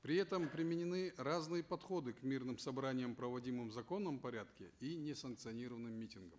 при этом применены разные подходы к мирным собраниям проводимым в законном порядке и несанкционированным митингам